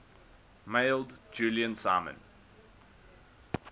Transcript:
mailed julian simon